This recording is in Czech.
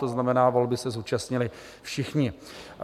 To znamená, volby se zúčastnili všichni.